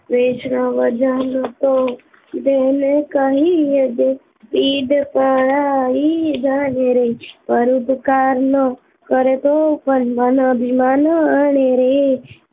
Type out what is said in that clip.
વૈષ્ણવજન તો તેને રે કહીએ જે પીડ પરાઈ જાને રે પર દુખે ઉપકાર કરે તો મન અભિમાન આણે રે